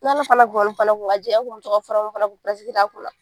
N'Ala fana an kun bɛ to ka fura minnu fana a kunna.